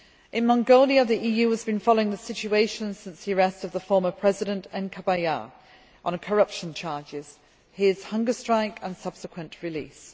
In Mongolia, the EU has been following the situation since the arrest of former President Enkhbayar on corruption charges, his hunger strike and subsequent release.